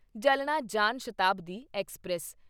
Jalna Jan Shatabdi express